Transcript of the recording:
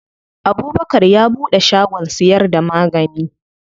Abubkar ya buɗe shagon siyar da magani.